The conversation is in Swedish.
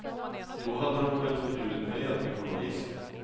Då hade de väl förbjudit mig att bli journalist.